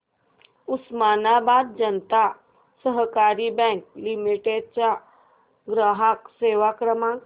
उस्मानाबाद जनता सहकारी bank limited चा ग्राहक सेवा क्रमांक